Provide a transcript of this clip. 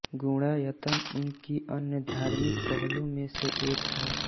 गुणायतन उनकी अन्य धार्मिक पहलों में से एक है